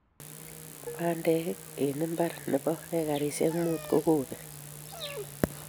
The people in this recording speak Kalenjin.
Pandek en imbar ne bo ekarishek munt kokopek